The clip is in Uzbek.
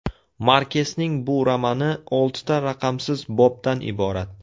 Markesning bu romani oltita raqamsiz bobdan iborat.